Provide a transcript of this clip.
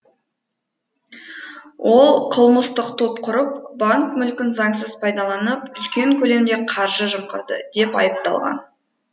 ол қылмыстық топ құрып банк мүлкін заңсыз пайдаланып үлкен көлемде қаржы жымқырды деп айыпталған